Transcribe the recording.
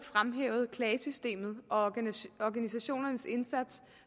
klagesystemet og organisationernes indsats